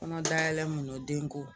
Kɔnɔdalayɛlɛ mun don ko